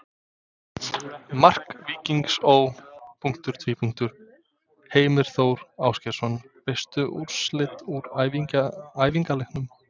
Mark Víkings Ó.: Heimir Þór Ásgeirsson Veistu úrslit úr æfingaleikjum?